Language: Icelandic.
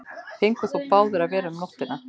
Fengu þó báðir að vera um nóttina.